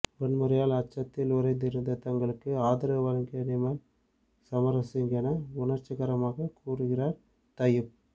வன்முறையால் அச்சத்தில் உறைந்திருந்த தங்களுக்கு ஆதரவு வழங்கியது நிமல் சமரசிங்க என உணர்ச்சிகரமாக கூறுகிறார் தையூப்